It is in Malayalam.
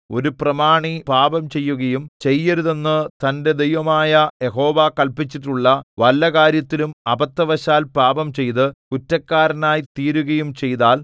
ഒരു പ്രമാണി പാപംചെയ്യുകയും ചെയ്യരുതെന്നു തന്റെ ദൈവമായ യഹോവ കല്പിച്ചിട്ടുള്ള വല്ല കാര്യത്തിലും അബദ്ധവശാൽ പാപംചെയ്ത് കുറ്റക്കാരനായി തീരുകയും ചെയ്താൽ